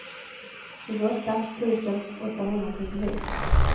tjugoåtta tusen åttahundratrettiosex